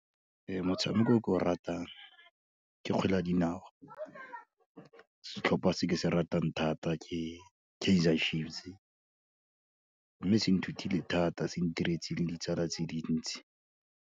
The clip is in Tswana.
Ee, motshameko o ke o ratang ke kgwele ya dinao, setlhopha se ke se ratang thata ke Kaizer Chiefs, mme se nthutile thata, se ntiretse le ditsala tse dintsi.